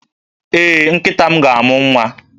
Ee, nkịta m ga-amụ nwa